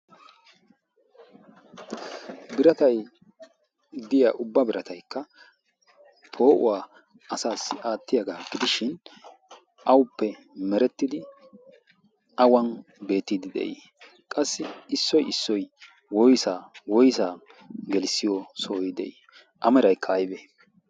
Biratay de'iya ubba birataikka poo7uwaa asaassi aattiyaagaa gidishin awuppe merettidi awan beettiidi de'ii? Qassi issoy issoy woysaa woysaa gelissiyo sohoy de'ii? A meraykka aybe?